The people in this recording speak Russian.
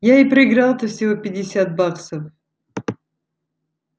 я и проиграл-то всего пятьдесят баксов